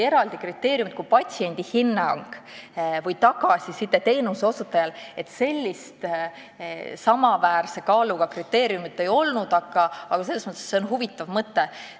Eraldi kriteeriumit, nagu patsiendi hinnang või tagasiside teenuse osutajale, sellist samaväärse kaaluga kriteeriumit tõesti ei olnud, aga see on huvitav mõte.